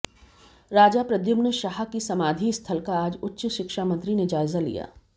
राजा प्रद्युमन शाह की समाधि स्थल का आज उच्च शिक्षा मंत्री ने जायजा लिया